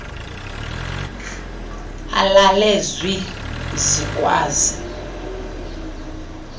alale zwi zikwazi